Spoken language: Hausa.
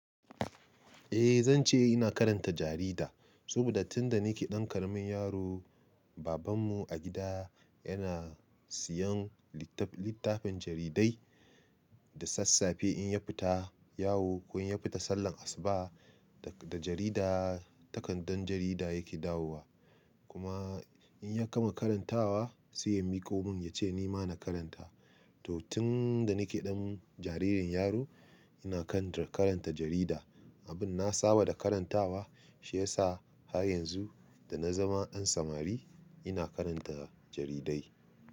Eh zance ina karanta jarida, saboda tunda nike ɗan ƙaramin yaro, baban mu a gida yana siyan littafin jaridai, da sassafe in ya fita yawo, ko in ya fita sallar asuba da jarida takardan jarida yake dawowa. Kuma in ya gama karantawa sai ya miko mun ya ce ni ma na karanta. To tun da nike ɗan jaririn yaro ina kan karanta jarida. Abin na saba da karantawa shi ya sa har yanzu da na zama ɗan samari ina karanta jaridai.